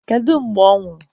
Kedu mgbe ọ nwụrụ?